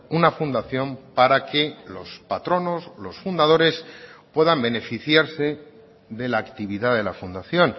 una fundación para que los patronos los fundadores puedan beneficiarse de la actividad de la fundación